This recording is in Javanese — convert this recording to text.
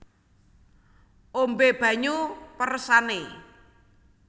Ombé banyu peresané